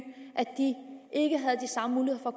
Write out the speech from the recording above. at de ikke havde de samme muligheder